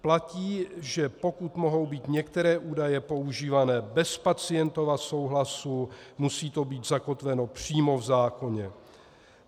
Platí, že pokud mohou být některé údaje používány bez pacientova souhlasu, musí to být zakotveno přímo v zákoně.